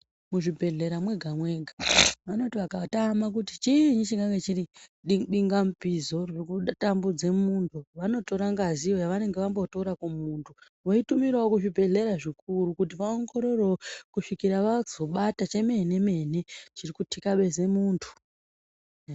Muzvibhedhlera mwega mwega vanoti vakatama kuti chiinyi chinganve chiri di dinga mupizo riri kutambudze muntu vanotora ngazi yavanenge vambotora kumuntu voitunirawo kuzvibhedhlera zvikuru kuti vaongororowo kusvika vazobata chemene mene chiri kutikabeze muntu.